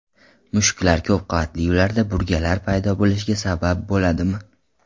Mushuklar ko‘pqavatli uylarda burgalar paydo bo‘lishiga sabab bo‘ladimi?